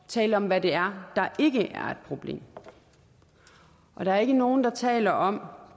tale om hvad det er der ikke er et problem der er ikke nogen der taler om